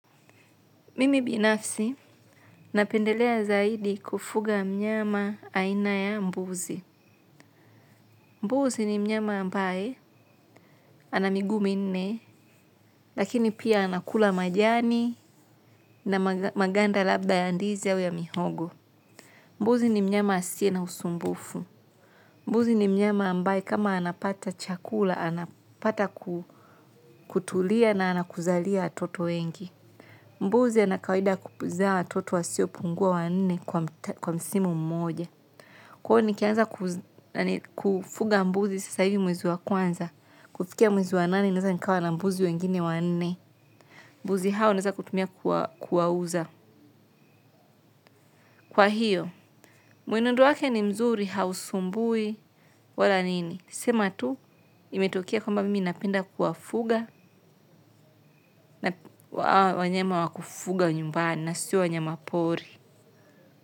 Mimi binafsi, napendelea zaidi kufuga mnyama aina ya mbuzi. Mbuzi ni mnyama ambaye, ana miguu minne, lakini pia anakula majani na maganda labda ya ndizi au ya mihogo. Mbuzi ni mnyama asiye na usumbufu. Mbuzi ni mnyama ambaye kama anapata chakula, anapata kutulia na ana kuzalia watoto wengi. Mbuzi ana kawaida kupuzaa watoto wasiopungua wanne kwa msimu mmoja. Kwao nikianza kufuga mbuzi sasa hivi mwezi wa kwanza. Kufikia mwezi wa nane naweza nikawa na mbuzi wengine wanne. Mbuzi hao naweza kutumia kuwauza. Kwa hiyo, mwenendo wake ni mzuri hausumbui wala nini. Sema tu, imetokea kwamba mimi napenda kuwafuga wanyama wakufuga nyumbani na sio wanyama pori.